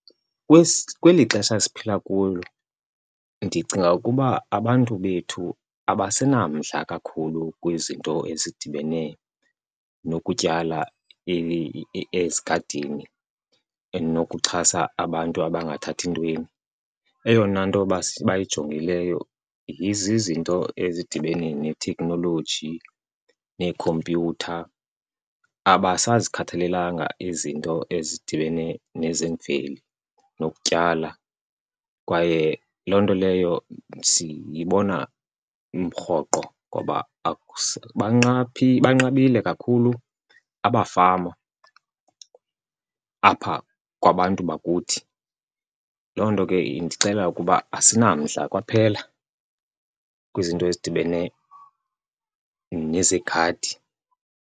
Kweli xesha siphila kulo ndicinga ukuba abantu bethu abasenamandla kakhulu kwizinto ezidibene nokutyala ezigadini enokuxhasa abantu abangathathi ntweni. Eyona nto bayijongileyo zizinto ezidibene netheknoloji, neekhompyutha. Abasazikhathelelanga izinto ezidibene nezemveli nokutyala kwaye loo nto leyo siyibona rhoqo ngoba banqabile kakhulu abafama apha kwabantu bakuthi. Loo nto ke indixelela ukuba asinamdla kwaphela kwizinto ezidibene nezegadi.